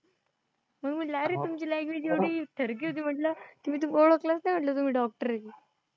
मग म्हंटलं अरे तुमची लँगवेज एवढी थरकी होती म्हंटलं की मी तुम्हाला ओळखलंच नाही म्हंटलं तुम्ही doctor आहे ते.